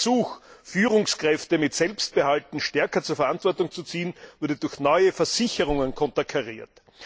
Der Versuch, Führungskräfte mit Selbstbehalten stärker in die Verantwortung zu ziehen, wurde durch neue Versicherungen konterkariert.